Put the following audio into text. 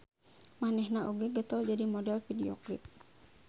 Manehna oge getol jadi model klip video.